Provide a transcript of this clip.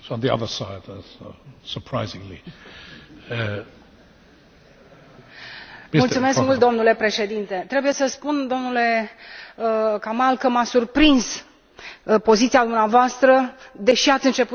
Trebuie să spun, domnule Kamall, că m a surprins poziția dumneavoastră, deși ați început cu remarca că dumneavoastră aveți o altă viață pentru că familia dumneavoastră a